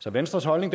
så venstres holdning